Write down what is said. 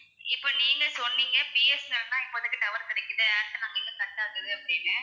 இப்போ நீங்க சொன்னீங்க பி. எஸ். என். எல் தான் எங்களுக்கு tower கிடைக்குது ஏர்டெல் வந்து cut ஆகுது அப்படின்னு